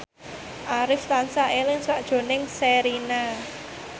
Arif tansah eling sakjroning Sherina